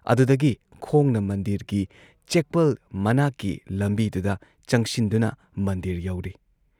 ꯑꯗꯨꯗꯒꯤ ꯈꯣꯡꯅ ꯃꯟꯗꯤꯔꯒꯤ ꯆꯦꯛꯄꯜ ꯃꯅꯥꯛꯀꯤ ꯂꯝꯕꯤꯗꯨꯗ ꯆꯪꯁꯤꯟꯗꯨꯅ ꯃꯟꯗꯤꯔ ꯌꯧꯔꯦ ꯫